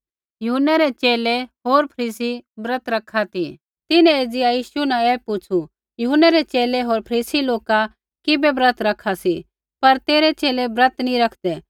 यूहन्नै रै च़ेले होर फरीसी ब्रत रखा ती तिन्हैं एज़िया यीशु न ऐ पुछ़ू यूहन्नै रै च़ेले होर फरीसी लोका किबै ब्रत रखा सी पर तेरै च़ेले ब्रत नैंई रखदै